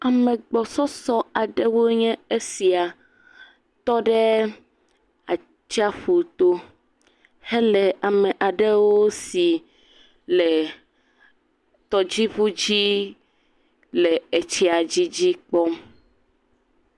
Ame gbɔsɔsɔ aɖewo nye esia tɔ ɖe atsiaƒu to hele ame aɖewo si le tɔdziŋu dzi le etsia dzi dzi kpɔm.